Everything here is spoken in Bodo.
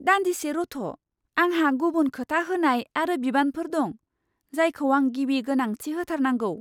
दान्दिसे रथ', आंहा गुबुन खोथा होनाय आरो बिबानफोर दं, जायखौ आं गिबि गोनांथि होथारनांगौ!